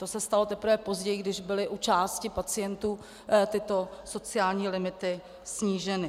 To se stalo teprve později, když byly u části pacientů tyto sociální limity sníženy.